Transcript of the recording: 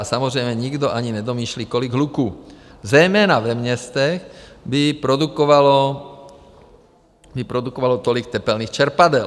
A samozřejmě nikdo ani nedomýšlí, kolik hluku zejména ve městech by produkovalo tolik tepelných čerpadel.